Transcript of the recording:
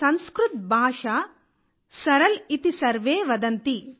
సంస్కృత్ భాష సరల్ ఇతి సర్వే వదంతి